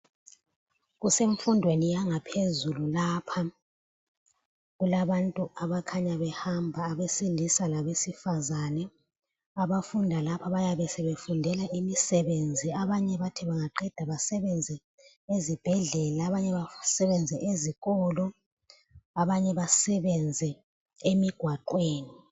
Kusemfundweni yangaphezulu lapha. Kulabantu abakhanya behamba, abesilisa labesifazane. Abafunda lapha bayabe sebefundela imisebenzi. Abanye bathi bangaqeda basebenze ezibhedlela abanye basebenze ezikolo abanye basebenze emigwaqweni.